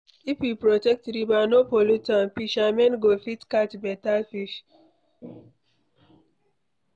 If we protect river no pollute am, fishermen go fit catch better fish.